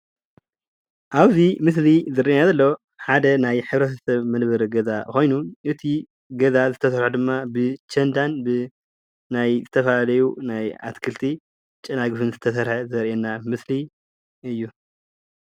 ኣብዚ ምስሊ ዝረአየና ዘሎ ሓደ ናይ ሕብረተሰብ መንበሪ ገዛ ኮይኑ እቲ ገዛ ዝተሰርሐሉ ድማ ብቸንዳን ናይ ዝተፈላለዩ ናይ ኣትክልቲ ጨናፍር ዝተሰርሐ ዘርእየና ምስሊ እዩ፡፡